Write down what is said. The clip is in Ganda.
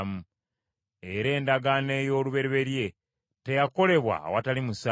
Era n’endagaano ey’olubereberye teyakolebwa awatali musaayi.